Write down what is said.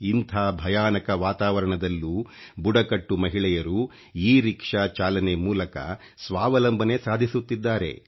ಇಂಥ ಭಯಾನಕ ವಾತಾವರಣದಲ್ಲೂ ಬುಡಕಟ್ಟು ಮಹಿಳೆಯರು ಇಖiಛಿಞshಚಿತಿ ಚಾಲನೆ ಮೂಲಕ ಸ್ವಾವಲಂಬನೆ ಸಾಧಿಸುತ್ತಿದ್ದಾರೆ